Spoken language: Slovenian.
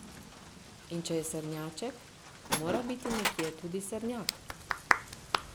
In če je srnjaček, mora biti nekje tudi srnjak.